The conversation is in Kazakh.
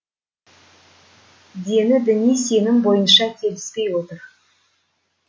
дені діни сенім бойынша келіспей отыр